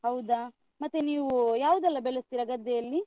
ಹೌದಾ, ಮತ್ತೆ ನೀವು ಯಾವ್ದೆಲ್ಲ ಬೆಳಸ್ತೀರಾ ಗದ್ದೆಯಲ್ಲಿ?